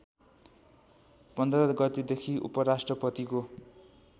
१५ गतेदेखि उपराष्ट्रपतिको